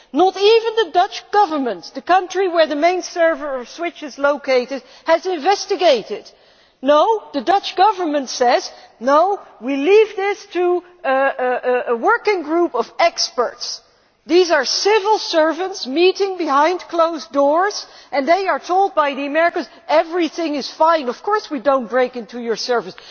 Not even the Dutch Government, in the country where the main server of SWIFT is located, has investigated. No, the Dutch Government says No, we shall leave this to a working group of experts'. These are civil servants meeting behind closed doors and they are being told by the Americans that everything is fine Of course we have not broken into your servers!'